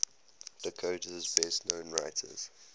dakota's best known writers